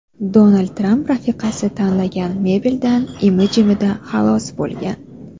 Donald Tramp rafiqasi tanlagan mebeldan imi-jimida xalos bo‘lgan.